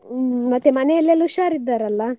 ಹ್ಮ್ ಮತ್ತೆ ಮನೆಲೆಲ್ಲಾ ಹುಷಾರಿದ್ದಾರಲ್ಲ?